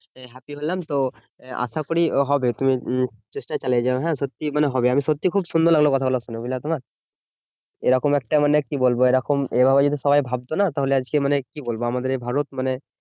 Happy হলাম তো আশা করি হবে তু তুমি চেষ্টা চালিয়ে যায় হ্যা সত্যি মানে হবে আমি সত্যি খুব সুন্দর লাগলো কথা গুলো শুনে বুঝলে তোমার এরকম একটা মানে কি বলবো এরকম এরম যদি সবাই ভাবতোনা তাহলে আজকে মানে কি বলবো আমাদের এই ভারত মানে